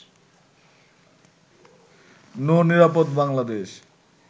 নৌ-নিরাপদ Bangladesh